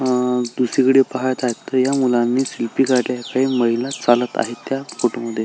अ दुसरीकडे पाहत आहे तर या मुलांनी सेल्फी काढला आहे काही महिला चालत आहे त्या फोटो मध्ये.